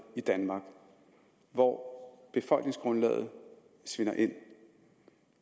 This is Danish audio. i danmark hvor befolkningsgrundlaget svinder ind